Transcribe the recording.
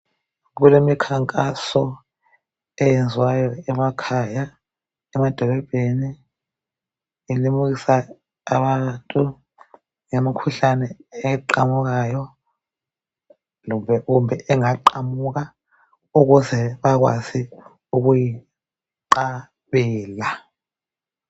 Kulemikhankaso eyenziwayo emakhaya, emadolobheni elimukisa abantu ngemikhuhlane eqamukayo kumbe engaqamuka ukuze bakwazi ukuyinqabela.